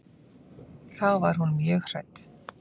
Þá var hún mjög hrædd.